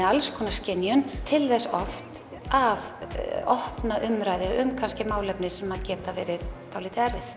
alls konar skynjun til þess oft að opna umræðu um kannski mál sem geta verið dálítið erfið